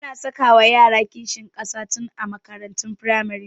Ana sakawa yara kishin ƙasa tun a makarantun firamare